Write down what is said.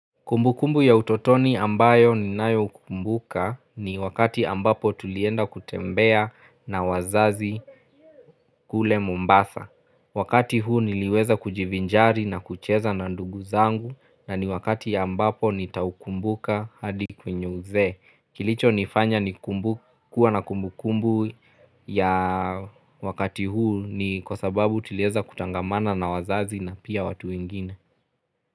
Kumbukumbu ya utotoni ambayo ni nayo kumbuka ni wakati ambapo tulienda kutembea na wazazi kule mombasa. Wakati huu niliweza kujivinjari na kucheza na ndugu zangu na ni wakati ambapo nitaukumbuka hadi kwenye uzee. Kilicho nifanya kuwa na kumbu kumbu ya wakati huu ni kwa sababu tulieza kuchangamana na wazazi na pia watu wengine.